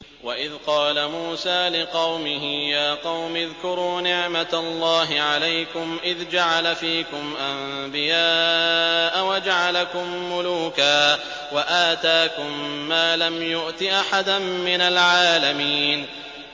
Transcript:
وَإِذْ قَالَ مُوسَىٰ لِقَوْمِهِ يَا قَوْمِ اذْكُرُوا نِعْمَةَ اللَّهِ عَلَيْكُمْ إِذْ جَعَلَ فِيكُمْ أَنبِيَاءَ وَجَعَلَكُم مُّلُوكًا وَآتَاكُم مَّا لَمْ يُؤْتِ أَحَدًا مِّنَ الْعَالَمِينَ